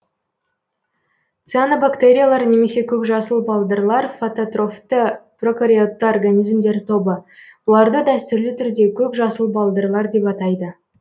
цианобактериялар немесе көкжасыл балдырлар фототрофты прокариотты организмдер тобы бұларды дәстүрлі түрде көк жасыл балдырлар деп атайды